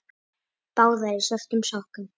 Báðar í svörtum sokkum.